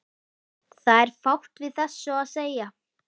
Það er fátt við þessu að segja.